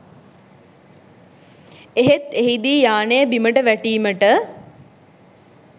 එහෙත් එහිදී යානය බිමට වැටීමට